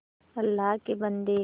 अल्लाह के बन्दे